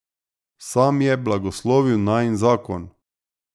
Sam je blagoslovil najin zakon.